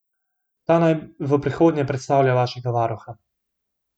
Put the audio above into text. Ta naj v prihodnje predstavlja vašega varuha.